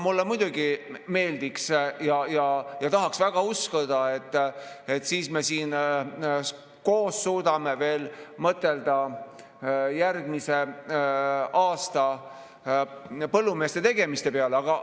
Mulle muidugi meeldiks ja ma tahaks väga uskuda, et me siis siin koos suudame veel mõtelda põllumeeste järgmise aasta tegemiste peale.